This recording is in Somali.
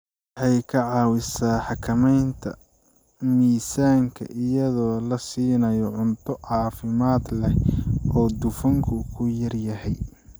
Waxay ka caawisaa xakamaynta miisaanka iyadoo la siinayo cunto caafimaad leh oo dufanku ku yar yahay.